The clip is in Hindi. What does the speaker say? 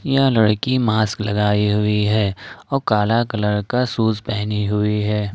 यह लड़की मास्क लगाई हुई है और काला कलर का शूज पहनी हुई है।